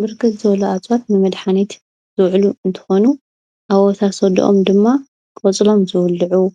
ብርክት ዝበሉ ኣፀዋት ንመድሓኒት ዝውዕሉ እንትኾኑ ኣወሳስደኦም ድማ ቆፅሎም ዝብልዑ ፣